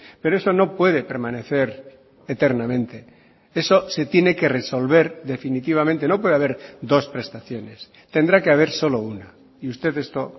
pero eso no puede permanecer eternamente eso se tiene que resolver definitivamente no puede haber dos prestaciones tendrá que haber solo una y usted esto